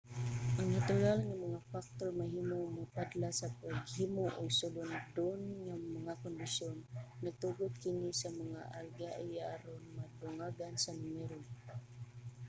ang natural nga mga factor mahimong motadlas sa paghimo og sulondon nga mga kondisyon nagtugot kini sa mga algae aron madungagan sa numero